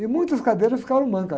E muitas cadeiras ficavam mancas.